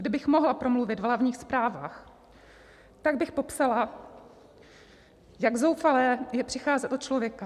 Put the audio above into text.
Kdybych mohla promluvit v hlavních zprávách, tak bych popsala, jak zoufalé je přicházet o člověka.